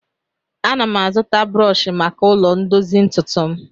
Ana m azụta brọọshị maka ụlọ ndozi ntụtụ m